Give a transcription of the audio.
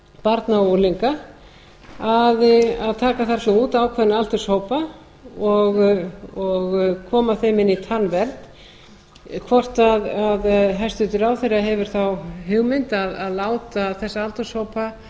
barna og unglinga að taka þar svo út ákveðna aldurshópa og koma þeim inn í tannvernd hvort hæstvirtur ráðherra hefur þá hugmynd að láta þessa aldurshópa